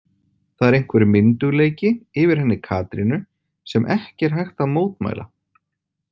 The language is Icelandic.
Það er einhver myndugleiki yfir henni Katrínu sem ekki er hægt að mótmæla.